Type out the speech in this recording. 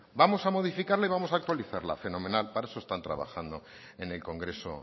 vamos a modificarla y vamos a actualizarla fenomenal para eso están trabajando en el congreso